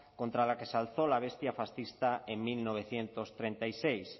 contra la que se alzó la bestia fascista en mil novecientos treinta y seis